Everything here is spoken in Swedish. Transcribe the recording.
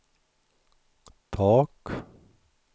tak